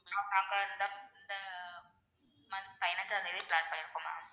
ma'am நாங்க இந்த இந்த month பதினைஞ்சாம் தேதி plan பண்ணி இருக்கோம் ma'am